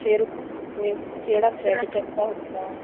ਫੇਰ ਫੇਰ ਕਿਹੜਾ thread ਚਾਹੀਦਾ ਹੁੰਦਾ